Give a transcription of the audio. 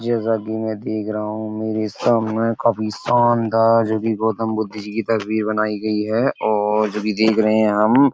जैसा कि मैं देख रहा हूँ। मेरे सामने काफी शानदार जो कि गौतम बुद्ध जी की तस्वीर बनाई गयी है और जो कि देख रहे हैं हम --